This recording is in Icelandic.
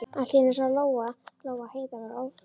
Allt í einu sá Lóa Lóa að Heiða var að ófríkka.